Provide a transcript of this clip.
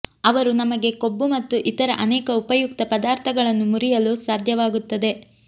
ಅವರು ನಮಗೆ ಕೊಬ್ಬು ಮತ್ತು ಇತರ ಅನೇಕ ಉಪಯುಕ್ತ ಪದಾರ್ಥಗಳನ್ನು ಮುರಿಯಲು ಸಾಧ್ಯವಾಗುತ್ತದೆ